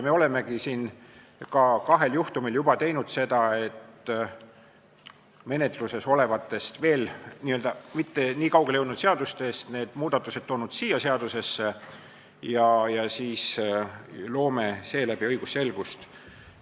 Me olemegi kahel juhtumil juba teinud seda, et menetluses olevatest, kuid veel mitte nii kaugele jõudnud seadustest toonud need muudatused siia seadusesse, ja loome seeläbi õigusselgust.